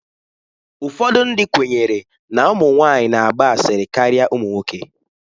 Ụfọdụ ndị kwenyere na ụmụ nwanyị na-agba asịrị karịa ụmụ nwoke.